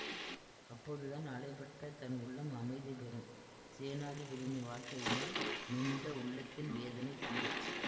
அப்போதுதான் அலைபட்ட தன் உள்ளம் அமைதி பெறும் சேநாதிபதியின் வார்த்தைகளினால் நொந்த உள்ளத்தின் வேதனை தீரும்